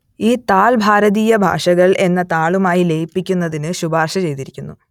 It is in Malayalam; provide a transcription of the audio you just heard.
ഈ താൾ ഭാരതീയ ഭാഷകൾ എന്ന താളുമായി ലയിപ്പിക്കുന്നതിന് ശുപാർശ ചെയ്തിരിക്കുന്നു